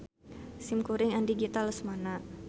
Simkuring Andi Gita Lesmana.